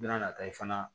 Bɛna na taa ye fana